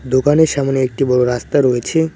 দোকানের সামনে একটি বড়ো রাস্তা রয়েছে।